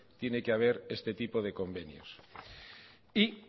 tiene que haber este tipo de convenios y